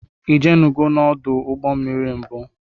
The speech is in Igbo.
I jenugo n'odu ụgbọ mmiri n'mbu?